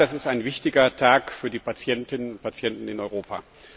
In der Tat, das ist ein wichtiger Tag für die Patientinnen und Patienten in Europa.